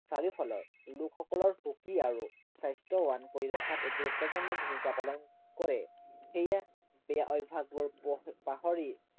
চাৰিওফালৰ লোকসকলক সুখী আৰু স্বাস্থ্য়বান কৰি ৰখাত এক গুৰুত্বপূৰ্ণ ভূমিকা পালন কৰে। সেয়ে এই অভ্য়াসবোৰ পহ পাহৰি